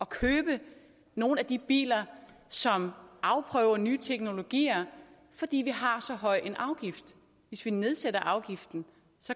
købe nogen af de biler som afprøver nye teknologier fordi vi har så høj en afgift hvis vi nedsætter afgiften